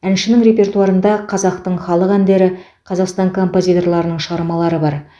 әншінің репертуарында қазақтың халық әндері қазақстан композиторларының шығармалары бар